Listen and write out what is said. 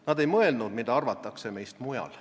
Nad ei mõelnud, mida arvatakse meist mujal.